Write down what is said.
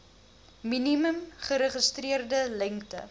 minimum geregistreerde lengte